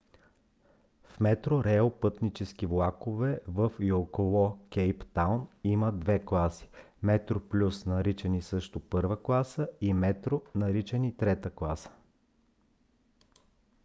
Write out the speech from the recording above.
в metrorail пътнически влакове във и около кейптаун имат две класи: metroplus наричани също първа класа и metro наричани трета класа